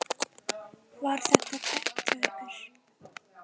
Var þetta tæpt hjá ykkur?